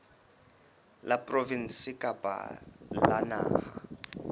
la provinse kapa la naha